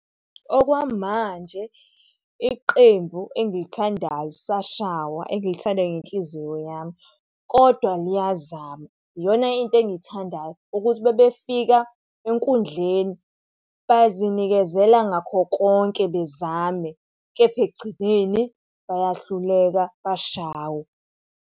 Okwamanje iqembu engilithandayo lisashawa engilithanda ngenhliziyo yami, kodwa liyazama. Iyona into engiyithandayo ukuthi uma befika enkundleni bazinikezela ngakho konke bezame kepha ekugcineni bayahluleka, bashawe.